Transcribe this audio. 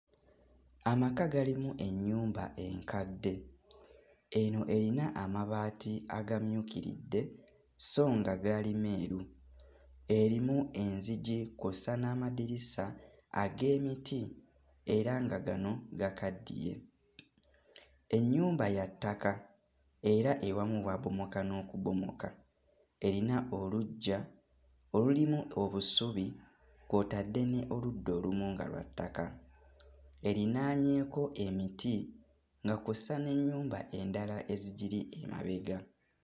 Amaka galimu ennyumba enkadde, eno eyina amabaati agamyukiridde sso nga gaali meeru, erimu enzigi kw'ossa n'amadirisa ag'emiti era nga gano gakaddiye. Ennyumba ya ttaka era ewamu waabomoka n'okubomoka, erina oluggya olulimu obusubi kw'otadde n'oludda olumu nga lwa ttaka erinaanyeeko emiti nga kw'ossa n'ennyumba endala ezigiri emabega.